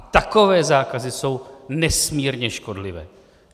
A takové zákazy jsou nesmírně škodlivé.